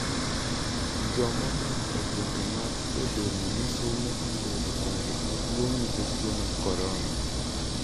Jo modak e gwenge mag e delni misume oseyudo chandruok maduong' nikech tuo mar Korona.